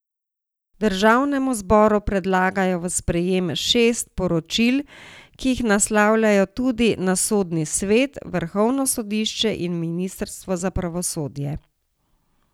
Državnemu zboru predlagajo v sprejem šest priporočil, ki jih naslavljajo tudi na Sodni svet, vrhovno sodišče in ministrstvo za pravosodje.